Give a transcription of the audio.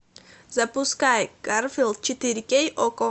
запускай гарфилд четыре кей окко